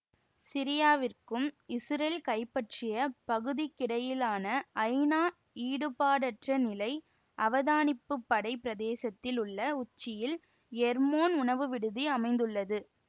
சிரியாவிற்கும் இசுரேல் கைப்பற்றிய பகுதிக்கிடையிலான ஐநா ஈடுபாடற்ற நிலை அவதானிப்பு படை பிரதேசத்தில் உள்ள உச்சியில் எர்மோன் உணவு விடுதி அமைந்துள்ளது